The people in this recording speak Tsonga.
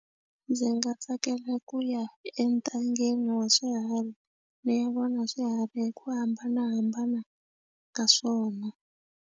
Ndzi nga tsakela ku ya entangeni wa swiharhi ni ya vona swiharhi hi ku hambanahambana ka swona.